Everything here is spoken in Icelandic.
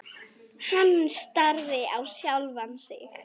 Hann starði á sjálfan sig.